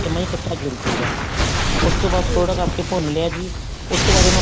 ਉਹ ਜਮਾ ਹੀ ਇੱਕਠਾ ਜੁੜਜੁਗਾ ਉਸ ਤੋਂ ਬਾਅਦ ਥੋੜਾ ਰੱਖ ਕੇ ਭੁੰਨ ਲਿਆ ਜੀ ਉਸ ਤੋਂ ਬਾਅਦ ਉਹਨੂੰ